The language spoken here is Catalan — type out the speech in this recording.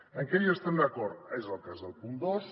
en què hi estem d’acord és el cas del punt dos